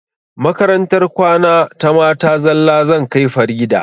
Makarantar kwana ta mata zalla zan kai farida